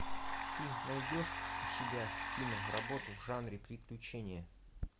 ты найдешь у себя киноработу в жанре приключения